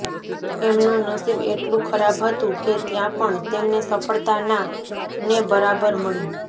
એમનું નશીબ એટલું ખરાબ હતું કે ત્યાં પણ તેમને સફળતા ના ને બરાબર મળી